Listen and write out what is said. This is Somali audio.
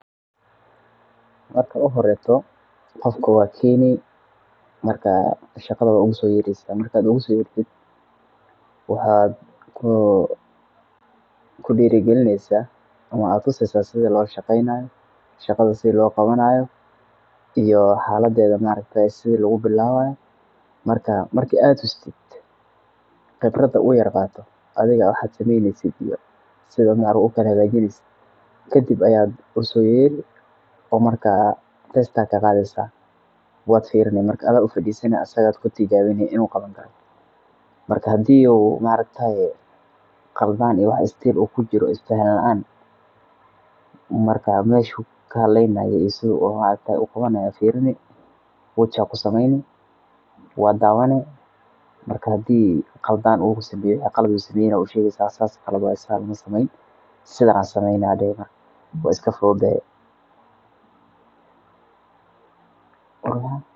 Marka u horeto qofka waa sini shagadha ma ugu soyeresit maraka uga soo yertit waxa ku dirigilinaysa ama tuseysa sidhii loshegaynayo shagadha sidhii lo gawanayo iyo xaladedha maa aragte sidhi loo bilawaye marka aad tustit qibrada u yaar qaato adiga waxad sameyneysit iyo sidha arimaha ukala hagajineysid kadiba aya usoyeere oo marka a test aya kagadheysa waad firini marka adha ufadisani aa kutijawini inoo qawani karoo marka hadii uu ma arakataye qaladhan iyo speed oo kujiro iyo isafahan laan marka meshu kahaleynayo iyo sidhi uu qawanayo firini watch aa kusameyni waa dawani marka hadii u qaldaan u sameyo qalaad u sameeye aa ushegeysa saas qalad waye sas maha sidhan sameey waa iskafudhudehe.